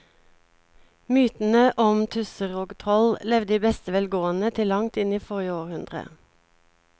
Mytene om tusser og troll levde i beste velgående til langt inn i forrige århundre.